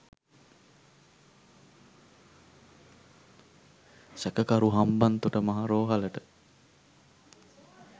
සැකකරු හම්බන්තොට මහ රෝහලට